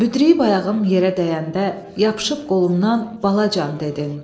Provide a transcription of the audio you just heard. Büdriyib ayağım yerə dəyəndə, yapışıb qolumdan bala can dedin.